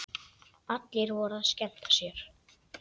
Allir voru að skemmta sér.